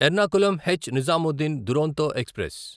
Ernakulam H Nizamuddin Duronto express